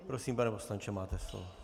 Prosím, pane poslanče, máte slovo.